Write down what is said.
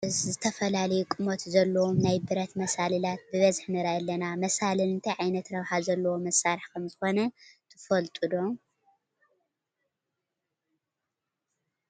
ካብ ብረት ዝተሰርሑ ዝተፈላለየ ቁመት ዘለዎም ናይ ብረት መሳልላት ብብዝሒ ንርኢ ኣለና፡፡ መሳልል እንታይ ዓይነት ረብሓ ዘለዎ መሳርሒ ከምዝኾነ ትፈልጦ ዶ?